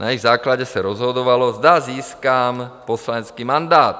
Na jejich základě se rozhodovalo, zda získám poslanecký mandát.